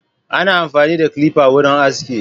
Ana amfani da clipper wurin aski.